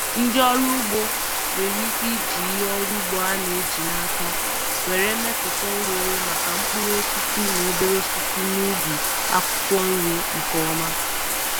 Ndị ọrụ ugbo nwere ike iji ihe ọrụ ugbo a na-eji n’aka were mepụta oghere maka mkpụrụ osisi na obere osisi n'ubi akwụkwọ nri nke ọma.